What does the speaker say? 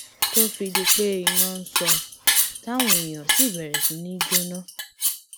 tó fi di pé iná sọ táwọn èèyàn sì bẹrẹ sí í jóná